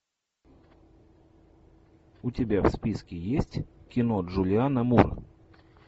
у тебя в списке есть кино джулианна мур